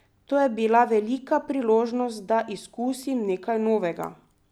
To je bila velika priložnost, da izkusim nekaj novega.